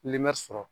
sɔrɔ